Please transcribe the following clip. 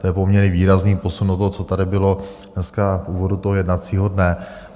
To je poměrně výrazný posun od toho, co tady bylo dneska v úvodu toho jednacího dne.